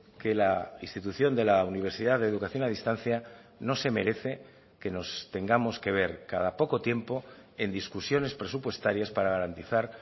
que la institución de la universidad de educación a distancia no se merece que nos tengamos que ver cada poco tiempo en discusiones presupuestarias para garantizar